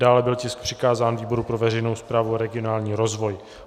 Dále byl tisk přikázán výboru pro veřejnou správu a regionální rozvoj.